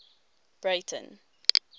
breyten